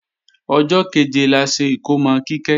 Ọjọ́ kẹ̀jẹ la ṣe ikómò Kíkẹ́